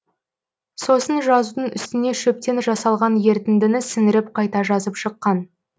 сосын жазудың үстіне шөптен жасалған ерітіндіні сіңіріп қайта жазып шыққан